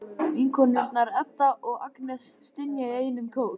Vinkonurnar, Edda og Agnes, stynja í einum kór.